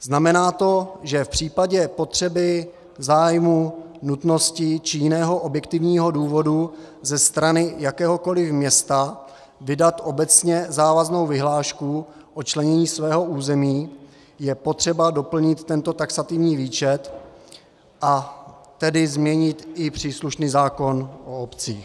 Znamená to, že v případě potřeby, zájmu, nutnosti či jiného objektivního důvodu ze strany jakéhokoliv města vydat obecně závaznou vyhlášku o členění svého území je potřeba doplnit tento taxativní výčet, a tedy změnit i příslušný zákon o obcích.